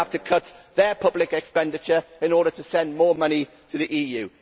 They are going to have to cut their public expenditure in order to send more money to the EU.